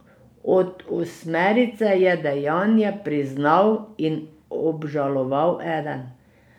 Od osmerice je dejanje priznal in obžaloval eden.